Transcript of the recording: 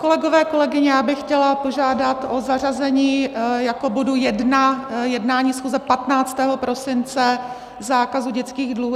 Kolegové, kolegyně, já bych chtěla požádat o zařazení jako bodu 1 jednání schůze 15. prosince, zákazu dětských dluhů.